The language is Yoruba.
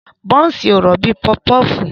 Bọ́nsì ò rọ̀ bíi pọfupọfu.